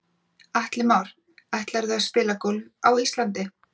Atli Már: Ætlarðu að spila golf á Íslandi?